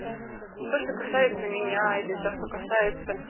то что касается меня или то что касается